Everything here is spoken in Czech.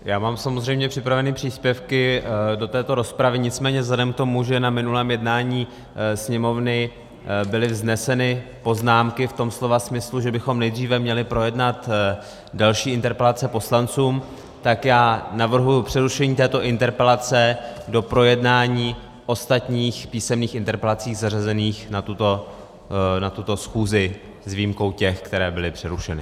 Já mám samozřejmě připraveny příspěvky do této rozpravy, nicméně vzhledem k tomu, že na minulém jednání Sněmovny byly vzneseny poznámky v tom slova smyslu, že bychom nejdříve měli projednat další interpelace poslanců, tak já navrhuji přerušení této interpelace do projednání ostatních písemných interpelací zařazených na tuto schůzi, s výjimkou těch, které byly přerušeny.